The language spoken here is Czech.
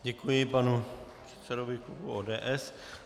Děkuji panu předsedovi klubu ODS.